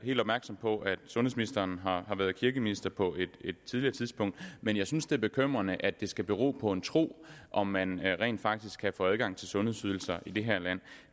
helt opmærksom på at sundhedsministeren har været kirkeminister på et tidligere tidspunkt men jeg synes det er bekymrende at det skal bero på en tro om man rent faktisk kan få adgang til sundhedsydelser i det her land